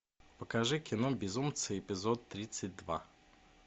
покажи кино безумцы эпизод тридцать два